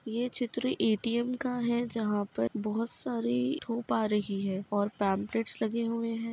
ये चित्र ए.टी.एम का है। जहाँ पर बहुत सारे धूप आ रही है और पेम्प्लेट्स लगे हुए हैं।